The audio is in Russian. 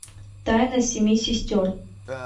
тайна семи сестер